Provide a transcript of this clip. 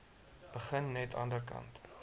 begin net anderkant